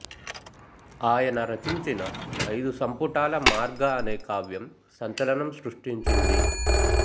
ఆయన రచించిన ఐదు సంపుటాల మార్గ అనే కావ్యం సంచలనం సృష్టించింది